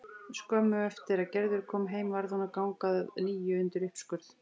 Skömmu eftir að Gerður kom heim varð hún að ganga að nýju undir uppskurð.